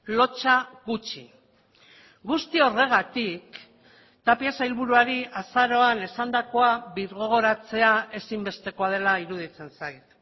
lotsa gutxi guzti horregatik tapia sailburuari azaroan esandakoa birgogoratzea ezinbestekoa dela iruditzen zait